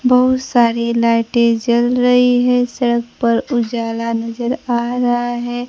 बहुत सारी लाइटें जल रही है सड़क पर उजाला नजर आ रहा है।